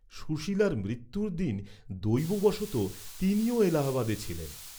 সুশীলার মৃত্যুর দিন দৈব বশতঃ তিনিও এলাহাবাদে ছিলেন।